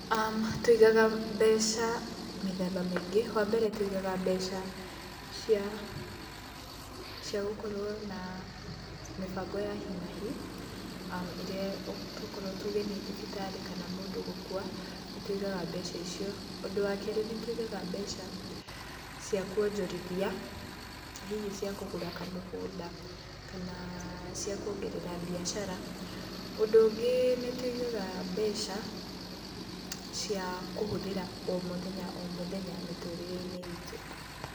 Tũigaga mbeca mĩthemba mĩingĩ, wa mbere tũigaga mbeca cia gũkorwo na mĩbango ya hi na hi, ĩrĩa tũkorwo tuge nĩ thibitarĩ kana mũndũ gũkua nĩ tũigaga mbeca icio. Ũndũ wa kerĩ nĩ tũigaga mbeca cia kuonjorithia hihi cia kũgura kamugũnda, kana cia kuongerera mbiacara. Ũndũ ũngĩ nĩ tũigaga mbeca cia kũhũthĩra o mũthenya o mũthenya mĩtũrĩre-inĩ itũ.